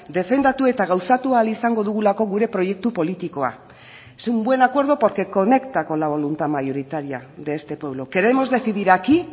defendatu eta gauzatu ahal izango dugulako gure proiektu politikoa es un buen acuerdo porque conecta con la voluntad mayoritaria de este pueblo queremos decidir aquí